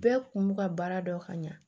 Bɛɛ kun b'u ka baara dɔn ka ɲa